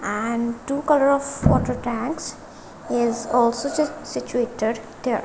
and two colour of water tanks is also just situated there.